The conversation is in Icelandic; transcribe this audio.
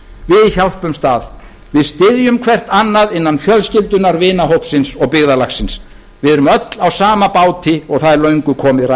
við hjálpumst að við styðjum hvert annað innan fjölskyldunnar vinahópsins og byggðarlagsins við erum öll á sama báti og það er löngu komið